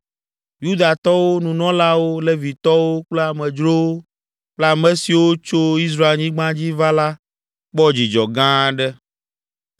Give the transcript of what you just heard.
Yudatɔwo, nunɔlawo, Levitɔwo kple amedzrowo kple ame siwo tso Israelnyigba dzi va la kpɔ dzidzɔ gã aɖe.